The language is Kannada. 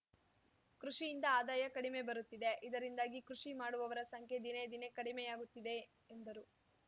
ಕೃಷಿಯಿಂದ ಆದಾಯ ಕಡಿಮೆ ಬರುತ್ತಿದೆ ಇದರಿಂದಾಗಿ ಕೃಷಿ ಮಾಡುವವರ ಸಂಖ್ಯೆ ದಿನೇ ದಿನೇ ಕಡಿಮೆಯಾಗುತ್ತಿದೆ ಎಂದರು